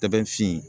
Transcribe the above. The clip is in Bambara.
Tɛ fin